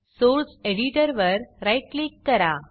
source एडिटरवर right click करा